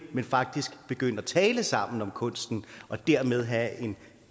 man faktisk begyndte at tale sammen om kunsten og dermed havde en